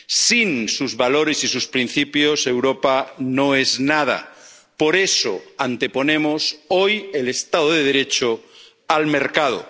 Sin sus valores y sus principios, Europa no es nada. Por eso, anteponemos hoy el Estado de Derecho al mercado.